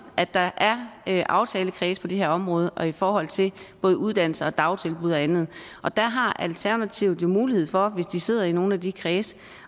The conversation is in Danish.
at der er aftalekredse på det her område og i forhold til både uddannelse og dagtilbud og andet og der har alternativet jo mulighed for hvis de sidder i nogle af de kredse